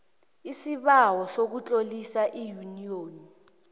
isibawo sokutlolisa iyuniyoni